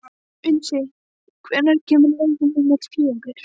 Unnsi, hvenær kemur leið númer fjögur?